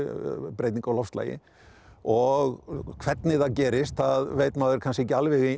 breytingu á loftslagi og hvernig það gerist það veit maður kannski ekki alveg